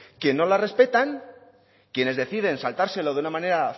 que no la respetan quienes deciden saltárselo de una manera